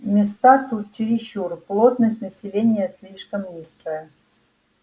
места тут чересчур плотность населения слишком низкая